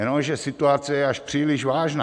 Jenomže situace je až příliš vážná.